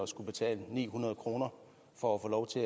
skulle betale ni hundrede kroner for at få lov til